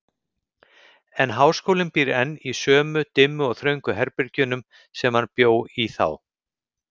En háskólinn býr enn í sömu, dimmu og þröngu herbergjunum, sem hann bjó í þá.